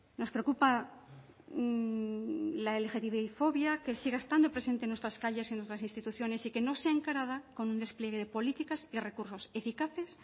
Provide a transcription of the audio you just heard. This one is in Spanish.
nos preocupa la lgtbifobia que siga estando presente en nuestras calles y en nuestras instituciones y que no sea encarada con un despliegue de política y recursos eficaces